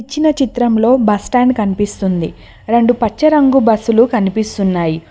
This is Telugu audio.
ఇచ్చినా చిత్రంలో బస్టాండ్ కనిపిస్తుంది రెండు బస్సులు కనిపిస్తున్నాయి.